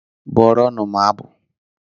Bụrụnụ m abụ!